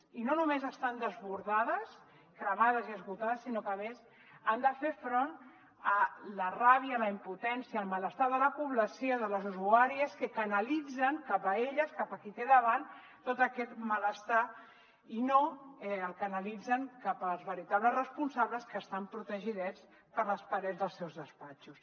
i no només estan desbordades cremades i esgotades sinó que a més han de fer front a la ràbia la impotència el malestar de la població de les usuàries que canalitzen cap a elles cap a qui tenen davant tot aquest malestar i no el canalitzen cap als veritables responsables que estan protegidets per les parets dels seus despatxos